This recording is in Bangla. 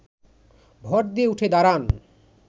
ভর দিয়ে উঠে দাঁড়ান